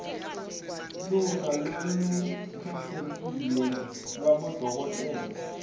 luhla lolukhetsekile lwabodokotela